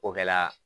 O kɛla